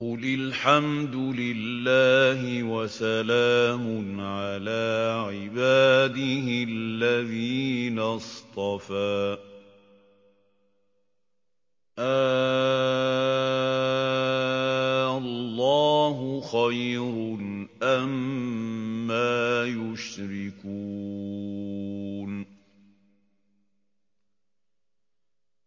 قُلِ الْحَمْدُ لِلَّهِ وَسَلَامٌ عَلَىٰ عِبَادِهِ الَّذِينَ اصْطَفَىٰ ۗ آللَّهُ خَيْرٌ أَمَّا يُشْرِكُونَ